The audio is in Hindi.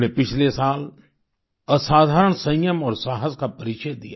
हमने पिछले साल असाधारण संयम और साहस का परिचय दिया